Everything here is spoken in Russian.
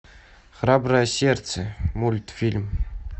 храброе сердце мультфильм